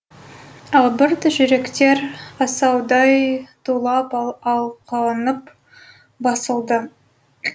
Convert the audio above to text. албырт жүректер асаудай тулап алқынып басылды